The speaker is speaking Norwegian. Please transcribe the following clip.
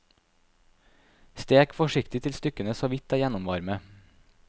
Stek forsiktig til stykkene såvidt er gjennomvarme.